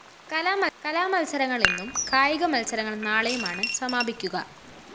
കലാമത്സരങ്ങള്‍ ഇന്നും കായിക മത്സരങ്ങള്‍ നാളെയുമാണ് സമാപിക്കുക